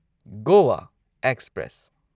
Goa express